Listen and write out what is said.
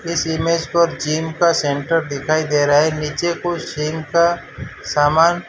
इस इमेज को जिम का सेंटर दिखाई दे रहा है नीचे कुछ जिम का सामान --